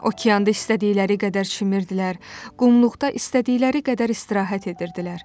Okeanda istədikləri qədər çimirdilər, qumluqda istədikləri qədər istirahət edirdilər.